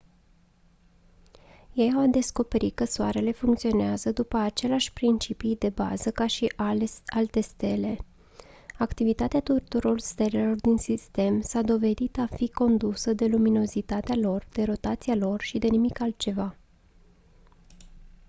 ei au descoperit că soarele funcționează după aceleași principii de bază ca și alte stele activitatea tuturor stelelor din sistem s-a dovedit a fi condusă de luminozitatea lor de rotația lor și de nimic altceva